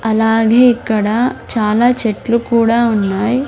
అలాగే ఇక్కడ చాలా చెట్లు కూడా ఉన్నాయ్.